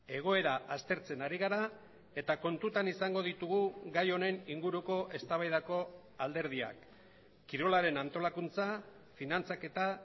egoera aztertzen ari gara eta kontutan izango ditugu gai honen inguruko eztabaidako alderdiak kirolaren antolakuntza finantzaketa